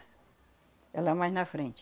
É lá mais na frente.